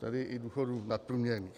Tedy i důchodů nadprůměrných.